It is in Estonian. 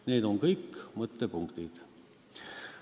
Need on kõik mõttepunktid.